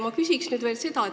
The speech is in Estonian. Ma küsin veel seda.